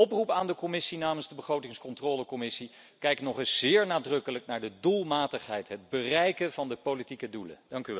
Dus een oproep aan de Commissie namens de Commissie begrotingscontrole kijk nog eens zeer nadrukkelijk naar de doelmatigheid, het bereiken van de politieke doelen.